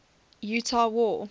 utah war